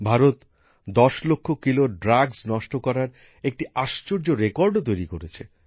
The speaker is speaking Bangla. ভারত ১০ লক্ষ কিলোর মাদক নষ্ট করার একটি দারুণ রেকর্ডও তৈরি করেছে